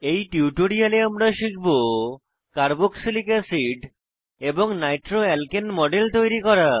এই টিউটোরিয়ালে আমরা শিখব কার্বক্সিলিক অ্যাসিড এবং নাইট্রোঅ্যালকেন মডেল তৈরি করা